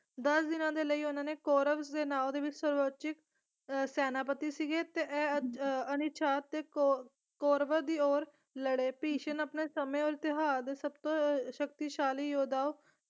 ਦਸ ਦਿਨਾਂ ਦੇ ਲਈ ਉਹਨਾਂ ਦੇ ਕੌਰਵ ਦੇ ਨਾਂ ਦੇ ਵਿੱਚ ਸਰਵਉਚਿਤ ਸੈਨਾਪਤੀ ਸੀਗੇ ਤੇ ਅਹ ਕੌ ਕੌਰਵਾਂ ਦੀ ਔਰ ਲੜੇ ਭਿਸ਼ਮ ਆਪਣੇ ਸਮੇਂ ਅਤੇ ਇਤਿਹਾਸ ਦੇ ਸਭਤੋਂ ਅਹ ਸ਼ਕਤੀਸ਼ਾਲੀ ਯੋਧਾਓਂ